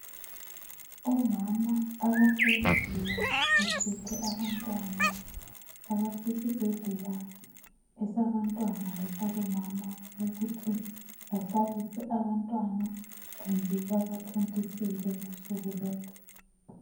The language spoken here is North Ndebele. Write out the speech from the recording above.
Omama abahleziyo bephethe abantwana abasesibhedlela esabantwana lesabomama ukuthi bahlabise abantwana kumbe babathontisele ngosuku lolu.